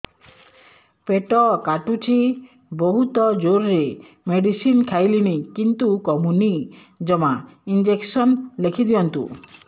ପେଟ କାଟୁଛି ବହୁତ ଜୋରରେ ମେଡିସିନ ଖାଇଲିଣି କିନ୍ତୁ କମୁନି ଜମା ଇଂଜେକସନ ଲେଖିଦିଅନ୍ତୁ